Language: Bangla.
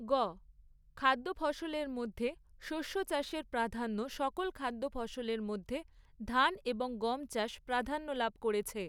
গ। খাদ্য ফসলের মধ্যে শস্য চাষের প্রাধান্য সকল খাদ্য ফসলের মধ্যে ধান এবং গম চাষ প্রাধান্য লাভ করেছে।